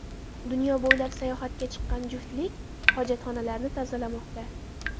Dunyo bo‘ylab sayohatga chiqqan juftlik hojatxonalarni tozalamoqda.